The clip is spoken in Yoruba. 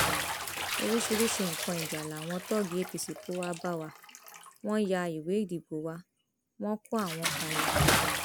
oríṣiríṣiì nǹkan ìjà làwọn tóògì apc kó wàá bá wa wọn yá ìwé ìdìbò wa wọn kó àwọn kan lọ